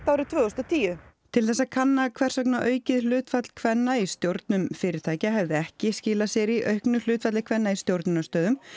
árið tvö þúsund og tíu til þess að kanna hvers vegna aukið hlutfall kvenna í stjórnum fyrirtækja hefði ekki skilað sér í auknu hlutfalli kvenna í stjórnunarstöðum